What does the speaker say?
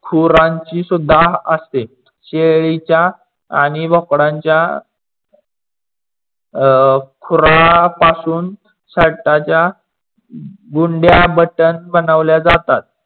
खुरानची सुद्धा असते. शेळीच्या आणि बोकडाच्या अं खुरा पासून शरटाच्या गुंड्या बटन बनवल्या जातात.